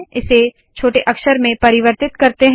इसे छोटे अक्षर में परिवर्तित करते है